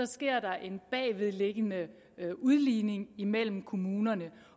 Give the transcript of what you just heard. sker der en bagvedliggende udligning imellem kommunerne